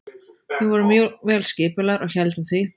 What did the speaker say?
Við vorum mjög vel skipulagðir og héldum því.